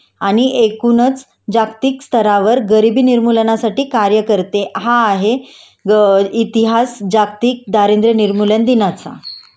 आणि एकूणच जागतिक स्तरावर गरिबी निर्मूलनासाठी कार्य करते हा आहे इतिहास जागतिक दारिद्र्य निर्मूलन दिनाचा